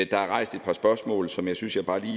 der er rejst et par spørgsmål som jeg synes jeg bare lige